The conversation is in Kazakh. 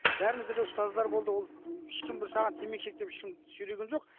бәрімізде де ұстаздар болды ол ешкім бір саған темекі шек деп ешкім сүйреген жоқ